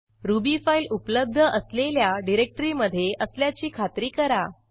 ruby file उपलब्ध असलेल्या डिरेक्टरीमधे असल्याची खात्री करा